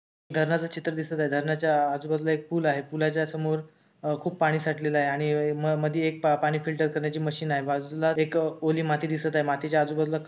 धरणाच चित्र दिसत आहे धरणाच्या आजूबाजूला एक पूल आहे पूलाच्या समोर अह खूप पाणी साठलेलं आहे आणि अह मधी एक पाणी फिल्टर करण्याची मशीन आहे बाजूला एक ओली माती दिसत आहे मातीच्या आजूबाजूला--